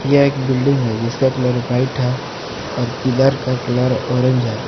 यह एक बिल्डिंग है जिसका कलर व्हाइट है और पिलर का कलर ऑरेंज है।